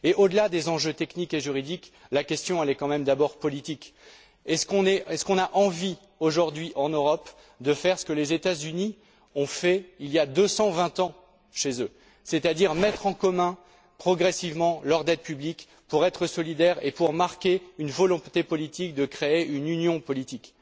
Et au delà des enjeux techniques et juridiques, la question est quand même d'abord politique. Est ce qu'on a envie, aujourd'hui en Europe, de faire ce que les États Unis ont fait il y a deux cent vingt ans chez eux, c'est à dire mettre en commun, progressivement, leur dette publique pour être solidaire et pour marquer une volonté politique de créer une union politique?